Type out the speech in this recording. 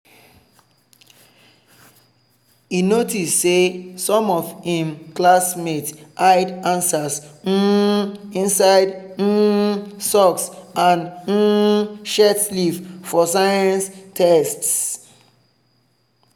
e notice say some of im classmates hide answers um inside um socks and um shirt sleeve for science test.